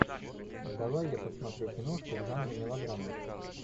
давай я посмотрю киношку в жанре мелодрама